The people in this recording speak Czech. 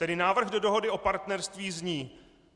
Tedy návrh do dohody o partnerství zní: